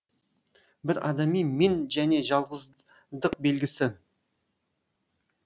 бір адами мен және жалғыздық белгісі